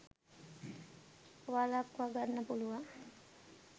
වලක්ව ගන්න පුළුවන්.